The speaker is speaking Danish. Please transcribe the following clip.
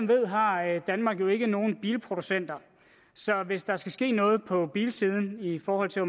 ved har danmark jo ikke nogen bilproducenter så hvis der skal ske noget på bilsiden i forhold til